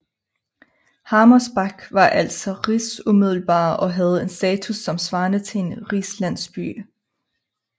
Harmersbach var altså rigsumiddelbar og havde en status som svarede til en rigslandsby